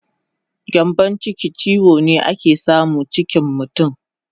Gyambon chiki chiwo ne ake samu chikin mutun